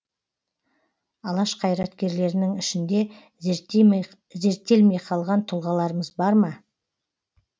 алаш қайраткерлерінің ішінде зерттелмей қалған тұлғаларымыз бар ма